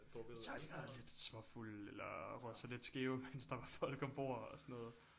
Så har de været lidt småfulde eller røget sig lidt skæve mens der var folk ombord og sådan noget